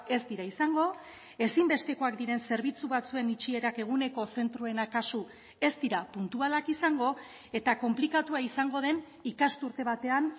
ez dira izango ezinbestekoak diren zerbitzu batzuen itxierak eguneko zentroena kasu ez dira puntualak izango eta konplikatua izango den ikasturte batean